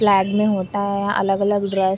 Flag में होता है। अलग-अलग ड्रेस --